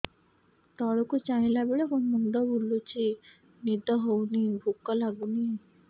ତଳକୁ ଚାହିଁଲା ବେଳକୁ ମୁଣ୍ଡ ବୁଲୁଚି ନିଦ ହଉନି ଭୁକ ଲାଗୁନି